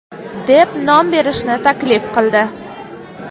deb nom berishni taklif qildi.